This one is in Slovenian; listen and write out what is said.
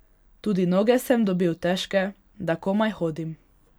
Tudi noge sem dobil težke, da komaj hodim.